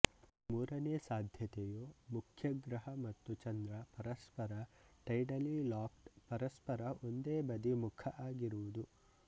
ಮೂರನೇ ಸಾಧ್ಯತೆಯು ಮುಖ್ಯಗ್ರಹ ಮತ್ತು ಚಂದ್ರ ಪರಸ್ಪರ ಟೈಡಲಿ ಲಾಕ್ಡ್ಪರಸ್ಪರ ಒಂದೇ ಬದಿ ಮುಖ ಆಗಿರುವುದು